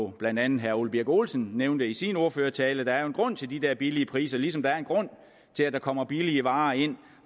blandt andet herre ole birk olesen nævnte i sin ordførertale der er jo en grund til de der billige priser ligesom der er en grund til at der kommer billige varer ind